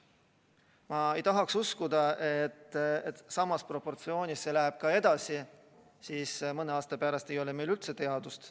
Ma ei tahaks uskuda, et see samas proportsioonis ka edasi läheb, sest siis mõne aasta pärast ei ole meil üldse teadust.